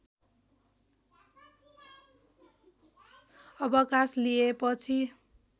अवकाश लिएपछि